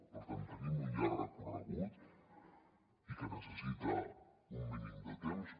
per tant tenim un llarg recorregut i que necessita un mínim de temps